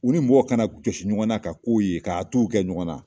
U ni mɔgɔ kana jɔsi ɲɔgɔn na ka k'o ye k'a t'u kɛ ɲɔgɔn na.